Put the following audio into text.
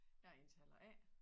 Jeg er indtaler A